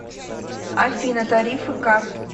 афина тарифы карт